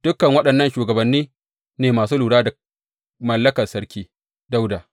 Dukan waɗannan shugabanni ne masu lura da mallakar Sarki Dawuda.